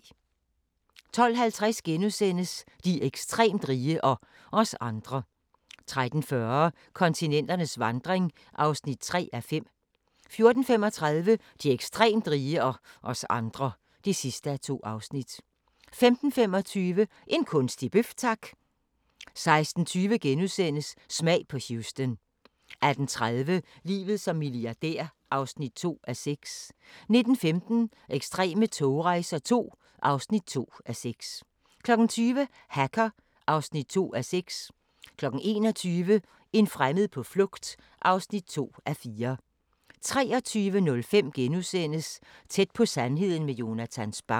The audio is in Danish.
12:50: De ekstremt rige – og os andre * 13:40: Kontinenternes vandring (3:5) 14:35: De ekstremt rige – og os andre (2:2) 15:25: En kunstig bøf, tak! 16:20: Smag på Houston * 18:30: Livet som milliardær (2:6) 19:15: Ekstreme togrejser II (2:6) 20:00: Hacker (2:6) 21:00: En fremmed på flugt (2:4) 23:05: Tæt på sandheden med Jonatan Spang *